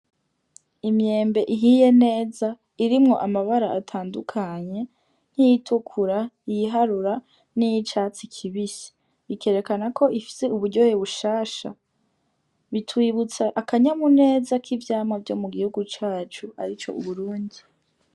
Imyembe ihiye neza irimwo amabara atandukanye nkiyi tukura iyi harura niyi catsi kibisi bikerekana ko ifise uburyohe bushasha bitwibutsa akanyamuneza k'ivyamwa vyo mu gihugu cacu arico Uburundi.